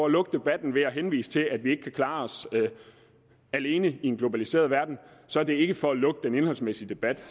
lukke debatten ved at henvise til at vi ikke kan klare os alene i en globaliseret verden så er det ikke for at lukke den indholdsmæssige debat